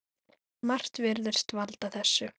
Margt virðist valda þessu.